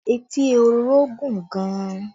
Etí ehoro gùn gan